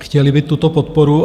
Chtěli by tuto podporu.